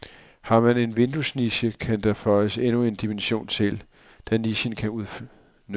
Har man en vinduesniche, kan der føjes endnu en dimension til, da nichen kan udnyttes.